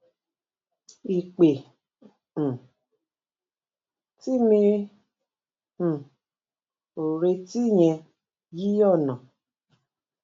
ìpè um tí mi um ò retí yẹn yí ònà